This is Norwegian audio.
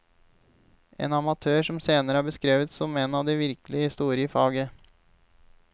En amatør som senere er beskrevet som en av de virkelig store i faget.